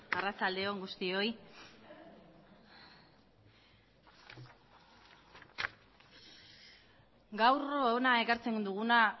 arratsalde on guztioi gaur hona ekartzen duguna